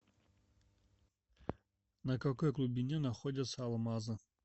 на какой глубине находятся алмазы